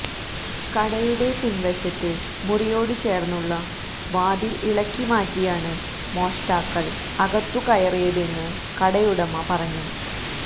കടയുടെ പിന് വശത്തെ മുറിയോടു ചേര്ന്നുള്ള വാതില് ഇളക്കിമാറ്റിയാണ് മോഷ്ടാക്കള് അകത്തു കയറിയതെന്ന് കടയുടമ പറഞ്ഞു